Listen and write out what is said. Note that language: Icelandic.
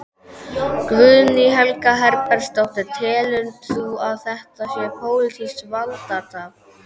Guðný Helga Herbertsdóttir: Telur þú að þetta sé pólitískt valdatafl?